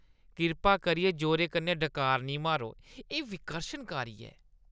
कृपा करियै जोरै कन्नै डकार नेईं मारो, एह् विकर्शनकारी ऐ।